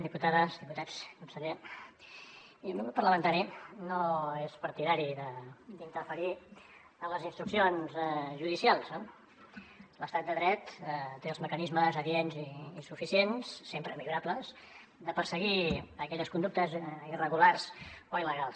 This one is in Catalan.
diputades diputats conseller mirin el meu grup parlamentari no és partidari d’interferir en les instruccions judicials no l’estat de dret té els mecanismes adients i suficients sempre millorables de perseguir aquelles conductes irregulars o il·legals